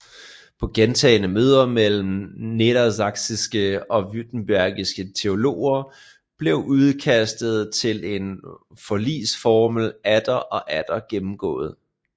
På gentagne møder mellem nedersachsiske og würtembergske teologer blev udkastet til en forligsformel atter og atter gennemgået